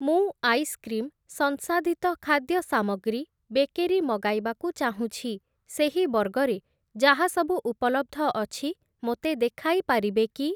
ମୁଁ ଆଇସ୍‌କ୍ରିମ୍‌, ସଂସାଧିତ ଖାଦ୍ୟ ସାମଗ୍ରୀ, ବେକେରୀ ମଗାଇବାକୁ ଚାହୁଁଛି, ସେହି ବର୍ଗରେ ଯାହା ସବୁ ଉପଲବ୍ଧ ଅଛି ମୋତେ ଦେଖାଇପାରିବେ କି?